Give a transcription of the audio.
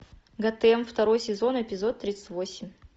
готэм второй сезон эпизод тридцать восемь